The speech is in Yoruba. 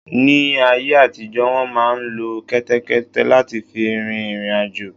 Ni áyé àtijọ́ wọ́n máà ń lo kẹ́tẹ́kẹ́té láti fi rin ìriǹ àjò.